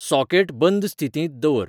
socket बंद स्थितींत दवर